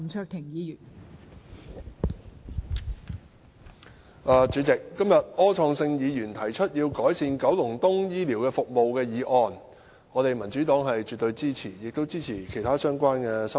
代理主席，柯創盛議員今天提出要求改善九龍東醫療服務的議案，民主黨是絕對支持的，我們亦支持其他相關的修正案。